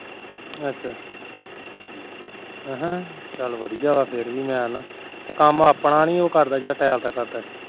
ਅੱਛਾ ਅਹਾ ਹਮ ਚੱਲ ਵਧੀਆਂ ਫਿਰ ਤੇ ਕੰਮ ਆਪਣਾ ਨੀ ਉਹ ਕਰਦਾ ਜਿਹੜਾ ਟੈਲ ਦਾ ਕਰਦਾ ਸੀ